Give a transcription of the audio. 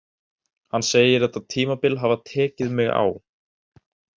Hann segir þetta tímabil hafa tekið mig á.